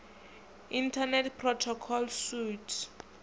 internet protocol suite